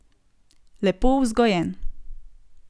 Lepo vzgojen.